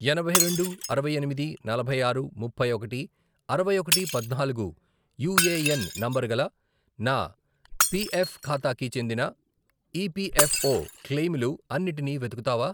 ఎనభై రెండు, అరవై ఎనిమిది, నలభై ఆరు, ముప్పై ఒకటి, అరవై ఒకటి, పద్నాలుగు, యూఏఎన్ నంబరుగల నా పిఎఫ్ ఖాతాకి చెందిన ఈపిఎఫ్ఓ క్లెయిములు అన్నిటినీ వెతుకుతావా?